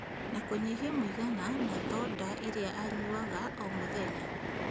Na kũnyihia mũigana na thonda iria anyuaga o mũthenya